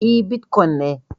E, bitkwon ne